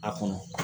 A kɔnɔ